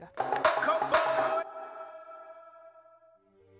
þá